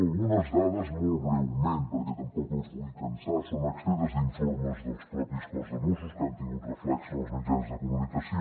algunes dades molt breument perquè tampoc els vull cansar són extretes d’informes del propi cos de mossos que han tingut reflex en els mitjans de comunicació